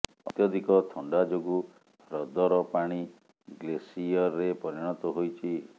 ଅତ୍ୟଧିକ ଥଣ୍ଡା ଯୋଗୁଁ ହ୍ରଦର ପାଣି ଗ୍ଲେସିୟରେ ପରିଣତ ହୋଇଛି